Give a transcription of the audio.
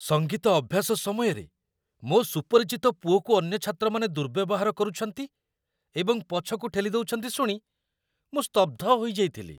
ସଙ୍ଗୀତ ଅଭ୍ୟାସ ସମୟରେ ମୋ ସୁପରିଚିତ ପୁଅକୁ ଅନ୍ୟ ଛାତ୍ରମାନେ ଦୁର୍ବ୍ୟବହାର କରୁଛନ୍ତି ଏବଂ ପଛକୁ ଠେଲି ଦେଉଛନ୍ତି ଶୁଣି ମୁଁ ସ୍ତବ୍ଧ ହୋଇଯାଇଥିଲି।